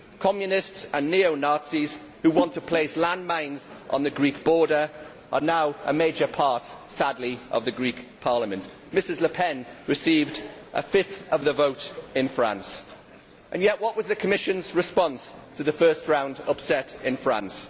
Sadly, communists and neo Nazis who want to place landmines on the Greek border are now a major part of the Greek Parliament. Ms Le Pen received a fifth of the vote in France. And yet what was the Commission's response to the first round upset in France?